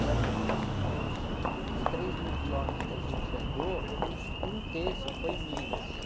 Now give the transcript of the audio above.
Praticamente dos, dos três mil quilômetros que a gente andou, um terço foi Minas.